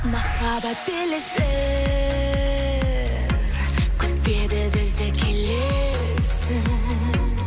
махаббат белесі күтеді бізді келесі